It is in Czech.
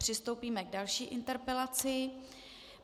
Přistoupíme k další interpelaci.